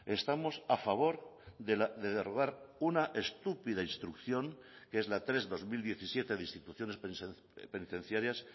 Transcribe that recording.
estamos a favor de derogar una estúpida instrucción que es la tres barra dos mil diecisiete de instituciones penitenciarias